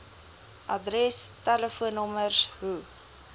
adres telefoonnommers hoe